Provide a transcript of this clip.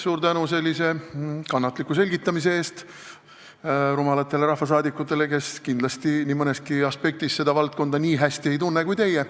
Suur tänu sellise kannatliku selgitamise eest rumalatele rahvasaadikutele, kes kindlasti nii mõneski aspektis seda valdkonda nii hästi ei tunne kui teie.